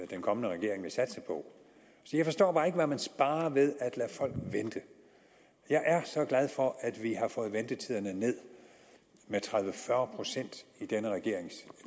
den kommende regering vil satse på så jeg forstår bare ikke hvad man sparer ved at lade folk vente jeg er så glad for at vi har fået ventetiderne ned med tredive til fyrre procent i denne regerings